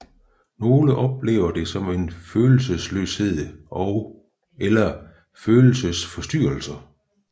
Nogle oplever det som følelsesløshed eller følelsesforstyrrelser